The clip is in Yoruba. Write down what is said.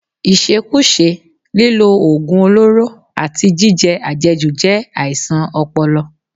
Ìṣekúṣe, lílo oògùn olóró, àti jíjẹ àjẹjù jẹ́ àìsàn ọpọlọ